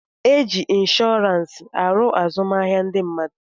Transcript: E ji inshọransị aru azụmahịa ndị mmadụ.